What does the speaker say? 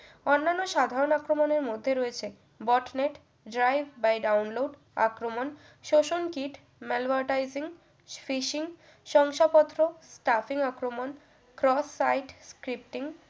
অন্যান্য সাধারণ আক্রমনের মধ্যে রয়েছে botnet crive by download আক্রমণ শোষণ kit malware typing fishing শংসাপত্র traffic আক্রমণ sos site scripting